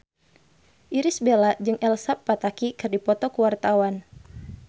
Irish Bella jeung Elsa Pataky keur dipoto ku wartawan